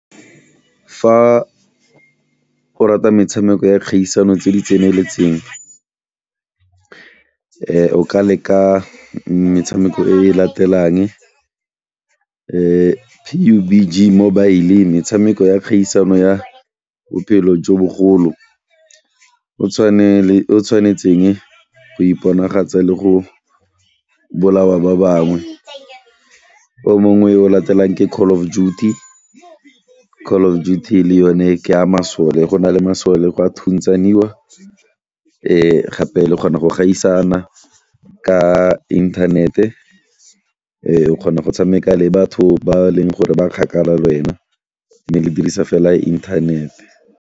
Fa o rata metshameko ya kgaisano tse di tseneletseng o ka leka metshameko e e latelang mobile metshameko ya kgaisano ya bophelo jo bogolo o tshwane le, o tshwanetseng go iponagatse le go bolawa ba bangwe, o mongwe o latelang ke Call of Duty. Call of Duty le yone ke ya masole, go na le masole, go a thuntshaniwa gape le kgona go gaisana ka inthanete o kgona go tshameka le batho ba e leng gore ba kgakala le wena mme le dirisa fela inthanete.